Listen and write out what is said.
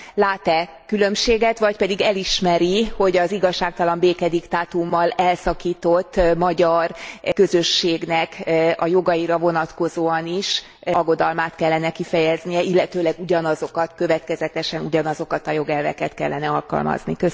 Lát e különbséget, vagy pedig elismeri, hogy az igazságtalan békediktátummal elszakított magyar közösségnek a jogaira vonatkozóan is aggodalmát kellene kifejeznie, illetőleg ugyanazokat, következetesen ugyanazokat a jogelveket kellene alkalmazni?